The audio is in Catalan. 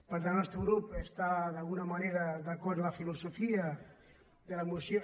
per tant el nostre grup està d’alguna manera d’acord amb la filosofia de la moció